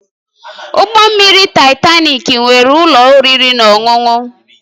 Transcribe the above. Ụgbọ mmiri Taịtanik nwere ụlọ oriri na ọṅụṅụ